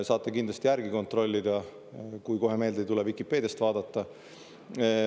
Saate kindlasti järgi kontrollida, Vikipeediast vaadata, kui kohe meelde ei tule.